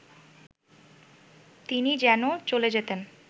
তিনি যেন চলে যেতেন